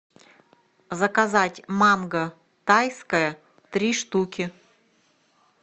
заказать манго тайское три штуки